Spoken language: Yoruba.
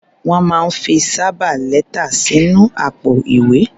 Wọ́n máa ń fi sábà lẹ́tà sínú àpò-ìwé.